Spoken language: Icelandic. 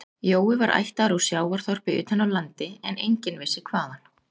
Jói var ættaður úr sjávarþorpi utan af landi en enginn vissi hvaðan